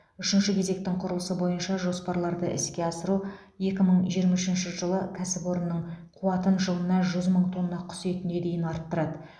үшінші кезектің құрылысы бойынша жоспарларды іске асыру екі мың жиырма үшінші жылы кәсіпорынның қуатын жылына жүз мың тонна құс етіне дейін арттырады